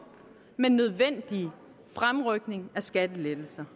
men nødvendige fremrykninger af skattelettelserne